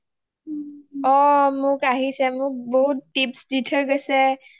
অ আহিছে মোক বহুত tips দি থৈ গৈছে